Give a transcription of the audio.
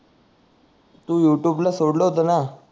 तू YouTube ला सोडल होत ना